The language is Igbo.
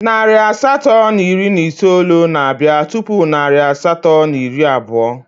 Narị asatọ na iri na itoolu na-abịa tupu narị asatọ na iri abụọ